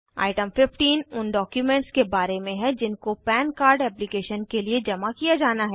item 15 उन documents के बारे में है जिनको पन कार्ड एप्लीकेशन के लिए जमा किया जाना है